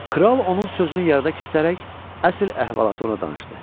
Kral onun sözünü yarıda kəsərək əsl əhvalatı ona danışdı.